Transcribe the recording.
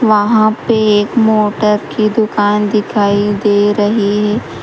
वहां पे एक मोटर की दुकान दिखाई दे रही --